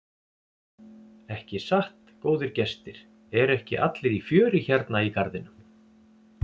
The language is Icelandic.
Ekki satt góðir gestir, eru ekki allir í fjöri hérna í garðinum?